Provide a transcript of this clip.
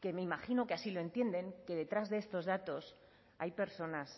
que me imagino que así lo entienden que detrás de estos datos hay personas